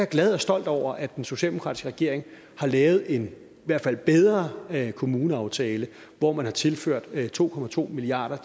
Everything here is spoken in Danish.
glad og stolt over at den socialdemokratiske regering har lavet en i hvert fald bedre kommuneaftale hvor man har tilført to to milliard